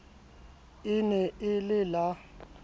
e ne e le la